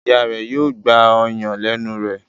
Ìyá rẹ yóò gbà ọyàn lénu rẹ.